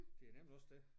Det er nemlig også det